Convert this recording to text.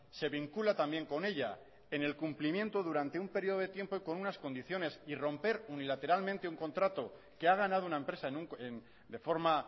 se vincula también con ella en el cumplimiento durante un período de tiempo y con unas condiciones y romper unilateralmente un contrato que ha ganado una empresa de forma